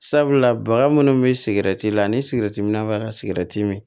Sabula baga minnu bɛ sigɛrɛti la ani sigɛriti minna ka sigɛrɛti min